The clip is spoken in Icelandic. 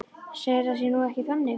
Segir að það sé nú ekki þannig.